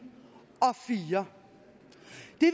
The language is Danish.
og fire